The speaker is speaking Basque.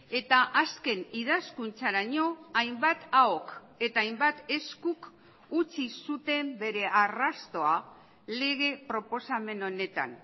eta azken idazkuntzaraino hainbat ahok eta hainbat eskuk utzi zuten bere arrastoa lege proposamen honetan